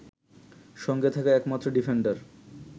সঙ্গে থাকা একমাত্র ডিফেন্ডার